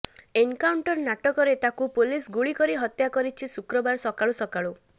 encounter ନାଟକରେ ତାକୁ ପୁଲିସଗୁଳି କରି ହତ୍ୟା କରିଛି ଶୁକ୍ରବାର ସକାଳୁସକାଳୁ